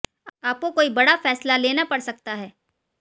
आपको कोई बड़ा फैसला लेना पड़ सकता है